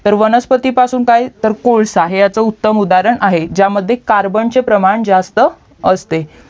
तर वनस्पतिपासून काय तर कोळसा हे याचं उत्तम उदाहरण आहे ज्यामध्ये कार्बन चे प्रमाण जास्त असते